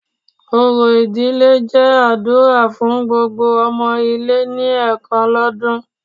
Orò ìdílé jẹ́ àdúrà fun gbogbo ọmọ ilé ni ẹ̀kan lọ́dún